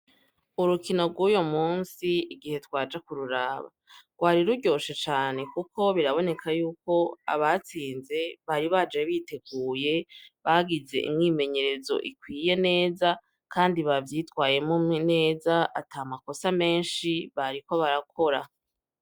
Urukino rwuye musi igihe twaja ku ruraba rwari ruryoshe cane, kuko biraboneka yuko abatsinze bari baje biteguye bagize imwimenyerezo ikwiye neza, kandi bavyitwayemo neza ata makosa menshi bariko barakora.